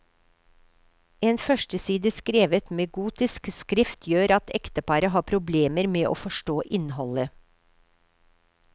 En førsteside skrevet med gotisk skrift gjør at ekteparet har problemer med å forstå innholdet.